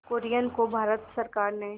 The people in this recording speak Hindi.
कुरियन को भारत सरकार ने